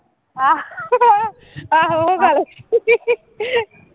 ਆਂਹੋ ਆਹੋ